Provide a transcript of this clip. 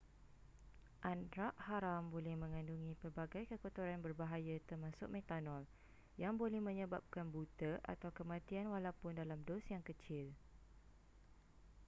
arak haram boleh mengandungi pelbagai kekotoran berbahaya termasuk metanol yang boleh menyebabkan buta atau kematian walaupun dalam dos yang kecil